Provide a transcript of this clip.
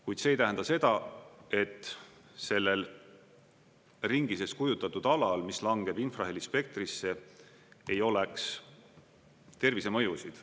Kuid see ei tähenda seda, et sellel ringi sees kujutatud alal, mis langeb infraheli spektrisse, ei oleks tervisemõjusid.